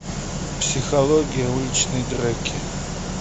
психология уличной драки